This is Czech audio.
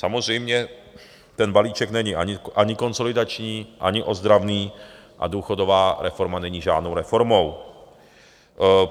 Samozřejmě ten balíček není ani konsolidační, ani ozdravný a důchodová reforma není žádnou reformou.